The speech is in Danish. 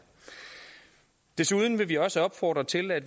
desuden vil vi også opfordre til at